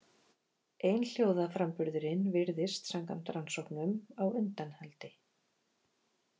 Einhljóðaframburðurinn virðist samkvæmt rannsóknum á undanhaldi.